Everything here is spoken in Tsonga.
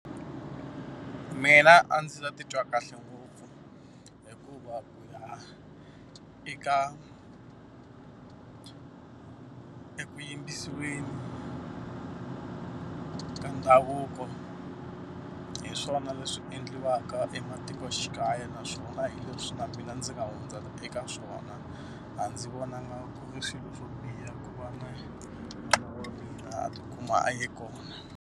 Mina a ndzi ta titwa kahle ngopfu hikuva ku ya eka eku yimbisiweni bya ndhavuko hi swona leswi endliwaka ematikoxikaya. Naswona hi leswi na mina ndzi nga hundza eka swona. Aa ndzi vonanga ku ri swilo swo biha ku va na n'wana wa mina ti kuma a ye kona.